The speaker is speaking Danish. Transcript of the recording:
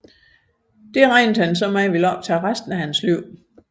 Det regnede han med at ville optage resten af hans liv